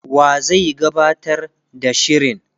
wa zai gabatar da shirin,?